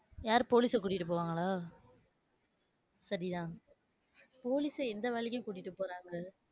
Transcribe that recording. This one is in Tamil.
யாரு police அ கூட்டிட்டு போவாங்களா? சரிதான். police அ எந்த வேலைக்கும் கூட்டிட்டு போறாங்க?